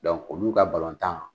olu ka balɔntan